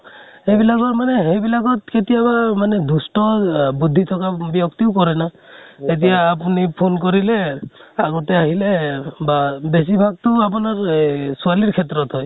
সেইবিলাকত মানে সেইবিলাকত কেতিয়াবা মানে দুষ্ট অহ বুদ্ধি থকা ব্য়ক্তিও কৰে ন। এতিয়া আপোনি phone কৰিলে, আগতে আহিলে বা বেছি ভাগ টো আপোনাৰ এহ ছোৱালীৰ ক্ষেত্ৰত হয়